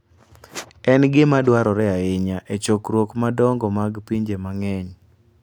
En gima dwarore ahinya e chokruoge madongo mag pinje mang'eny.